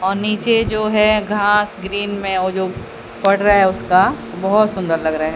और नीचे जो है घास ग्रीन में और जो पड़ रहा है उसका बहोत सुंदर लग रहा है।